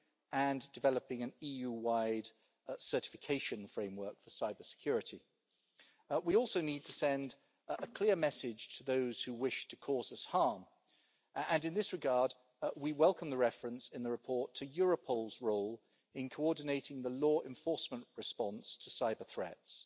and developing an EU-wide certification framework for cybersecurity. We also need to send a clear message to those who wish to cause us harm, and in this regard we welcome the reference in the report to Europol's role in coordinating the law enforcement response to cyber-threats.